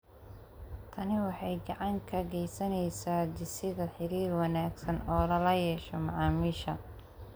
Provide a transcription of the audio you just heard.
Tani waxay gacan ka geysaneysaa dhisidda xiriir wanaagsan oo lala yeesho macaamiisha.